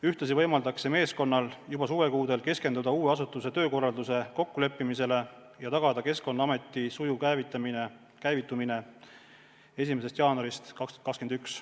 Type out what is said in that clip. Ühtlasi võimaldaks see meeskonnal juba suvekuudel keskenduda uue asutuse töökorralduse kokkuleppimisele ja tagada Keskkonnaameti sujuv käivitumine 1. jaanuarist 2021.